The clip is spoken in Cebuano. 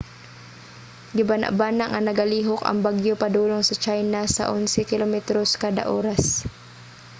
gibanabana nga nagalihok ang bagyo padulong sa china sa onse kilometros kada oras